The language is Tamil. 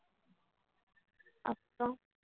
அப்புறம்